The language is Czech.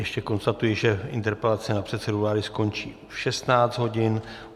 Ještě konstatuji, že interpelace na předsedu vlády skončí v 16 hodin.